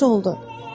Yaxşı oldu.